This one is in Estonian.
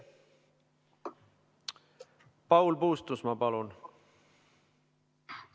Paul Puustusmaa, palun!